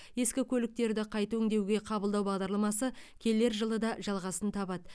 ескі көліктерді қайта өңдеуге қабылдау бағдарламасы келер жылы да жалғасын табады